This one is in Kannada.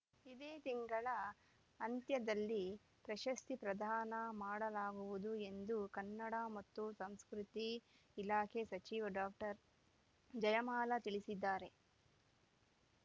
ಇದೇ ತಿಂಗಳ ಅಂತ್ಯದಲ್ಲಿ ಪ್ರಶಸ್ತಿ ಪ್ರದಾನ ಮಾಡಲಾಗುವುದು ಎಂದು ಕನ್ನಡ ಮತ್ತು ಸಂಸ್ಕೃತಿ ಇಲಾಖೆ ಸಚಿವೆ ಡಾಕ್ಟರ್ ಜಯಮಾಲಾ ತಿಳಿಸಿದ್ದಾರೆ